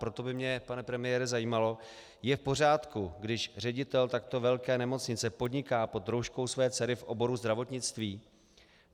Proto by mě, pane premiére, zajímalo - je v pořádku, když ředitel takto velké nemocnice podniká pod rouškou své dcery v oboru zdravotnictví?